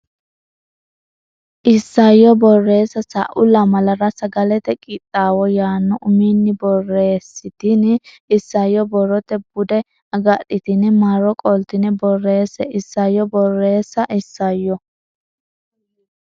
Isayyo Borreessa Sa u lamalara Sagalete Qixxaawo yaanno uminni borreessitini isayyo borrote bude agadhitine marro qoltine borreesse Isayyo Borreessa Isayyo.